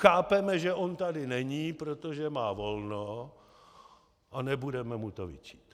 Chápeme, že on tady není, protože má volno, a nebudeme mu to vyčítat.